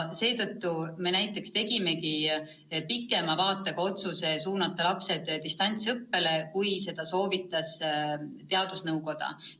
Seetõttu me tegimegi pikema vaatega otsuse suunata lapsed distantsõppele kauemaks, kui soovitas teadusnõukoda.